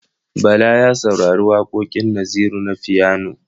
Bala ya saurari waƙoƙin Naziru na fiyano.